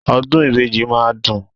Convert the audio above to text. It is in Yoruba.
Ọdún ìbejì máa ń dùn.